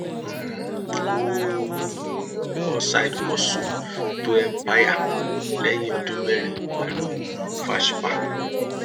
um ó um kọ side hustle to empire lẹyìn ọdún mẹrin pẹlú um fashpa